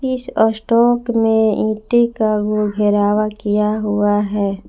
इस स्टॉक में ईंटे का भी घरावा किया हुआ है।